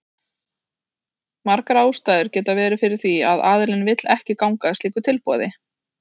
Margar ástæður geta verið fyrir því að aðilinn vill ekki ganga að slíku tilboði.